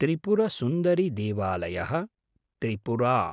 त्रिपुरसुन्दरिदेवालयः Tripura